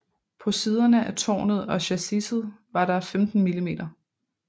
På siderne af tårnet og chassiset var der 15 mm